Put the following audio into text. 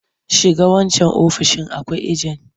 Shiga wancan ofoishin akwai ajen!